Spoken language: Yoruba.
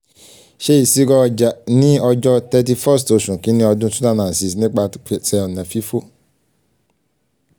ṣe iṣiro iye ọja ni ọjọ thirty first oṣu kini ọdun two thousand and six nipasẹ ọna fifo um